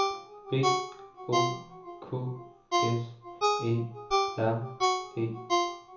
B O K S E R E